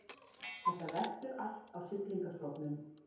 Þetta veltur allt á Siglingastofnun